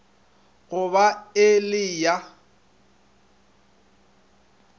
go ba e le ya